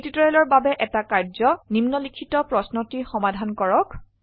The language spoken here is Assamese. এই টিউটৰীয়েলৰ বাবে এটা কাৰ্যয নিম্নলিখিত প্ৰশ্নটি সমাধান কৰক